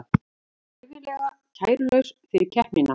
Var hæfilega kærulaus fyrir keppnina